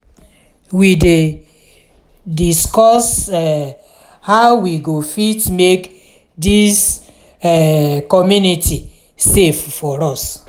we dey discuss um how we go fit make dis um community safe for us.